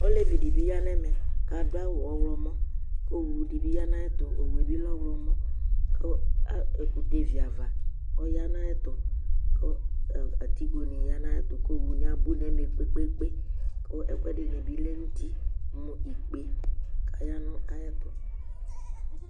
olɛvi di bi yanɛ mɛ kʋ adʋ awʋ ɔwlɔmɔ kʋ owʋ di bi yana ayɛtʋ owʋɛbi lɛ ɔwlɔmɔ kʋ ɛkʋtɛ vi aɣa ɔyanu ayɛtʋ kʋ atigo ni yanɛtɔ kʋ owʋ ni abʋ nɛvɛ kpɛkpɛ kʋ ɛkʋɛdi dini bi lɛnʋti mʋ ikpɛ kɔ ya nʋ ayɛtʋ